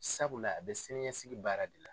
Sabula a be siniɲɛsigi baara de la.